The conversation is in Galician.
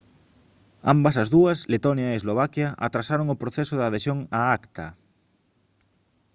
ambas as dúas letonia e eslovaquia atrasaron o proceso de adhesión á acta